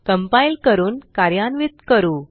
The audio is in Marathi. कंपाइल करून कार्यान्वित करू